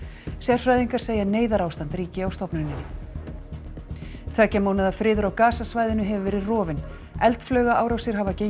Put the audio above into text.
sérfræðingar segja að neyðarástand ríki á stofnunnni tveggja mánaða friður á hefur verið rofinn eldflaugaárásir hafa gengið